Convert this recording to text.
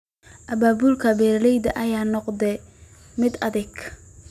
Abaabulka beeralayda ayaa noqda mid adag.